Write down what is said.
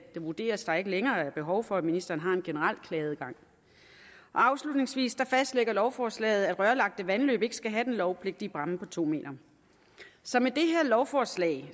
det vurderes at der ikke længere er behov for at ministeren har en generel klageadgang afslutningsvis fastlægger lovforslaget at rørlagte vandløb ikke skal have den lovpligtige bræmme på to m så med det her lovforslag